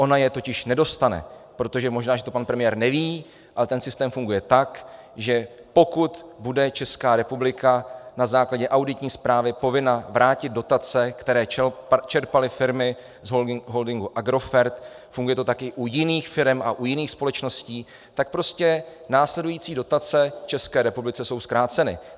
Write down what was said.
Ona je totiž nedostane, protože možná, že to pan premiér neví, ale ten systém funguje tak, že pokud bude Česká republika na základě auditní zprávy povinna vrátit dotace, které čerpaly firmy z holdingu Agrofert - funguje to také u jiných firem a u jiných společností - tak prostě následující dotace České republice jsou zkráceny.